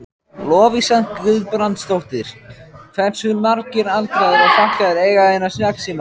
Lovísa Guðbrandsdóttir: Hversu margir aldraðir og fatlaðir eiga hérna snjallsíma?